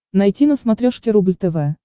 найти на смотрешке рубль тв